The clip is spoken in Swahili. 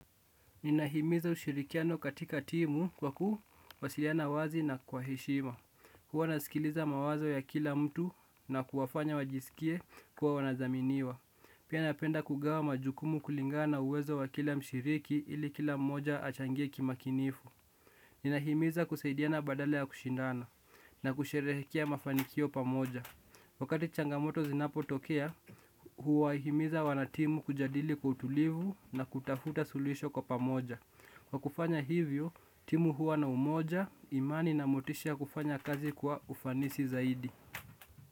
Ninahimiza ushirikiano katika timu kwa kuwasiliana wazi na kwa heshima. Huwa nasikiliza mawazo ya kila mtu na kuwafanya wajisikie kuwa wanadhaminiwa. Pia napenda kugawa majukumu kulingana na uwezo wa kila mshiriki ili kila mmoja achangie kimakinifu. Ninahimiza kusaidiana badala ya kushindana na kusherehekea mafanikio pamoja. Wakati changamoto zinapotokea, huwahimiza wanatimu kujadili kwa utulivu na kutafuta sulisho kwa pamoja. Kwa kufanya hivyo, timu huwa na umoja, imani na motisha ya kufanya kazi kwa ufanisi zaidi.